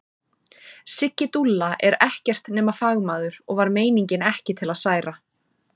Siggi dúlla er ekkert nema fagmaður og var meiningin ekki til að særa.